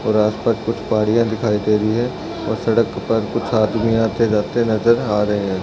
और आस-पास कुछ पहाड़ियाँ दिखाई दे रही हैं और सड़क के पर कुछ आदमी आते-जाते नजर आ रहै है ।